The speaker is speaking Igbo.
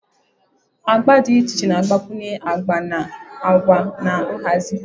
agba dị iche iche na-agbakwunye agba na agwa na nhazi